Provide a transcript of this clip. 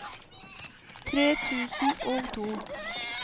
tre tusen og to